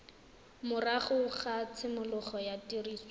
morago ga tshimologo ya tiriso